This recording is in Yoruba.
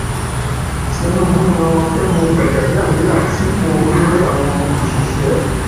tinúbù yan fẹmi gbajàbíàmílà sípò olórí àwọn òṣìṣẹ